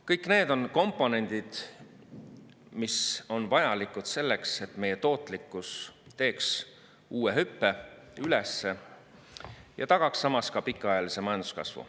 Kõik need on komponendid, mis on vajalikud selleks, et meie tootlikkus teeks uue hüppe üles ja tagaks samas pikaajalise majanduskasvu.